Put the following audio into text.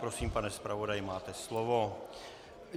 Prosím, pane zpravodaji, máte slovo.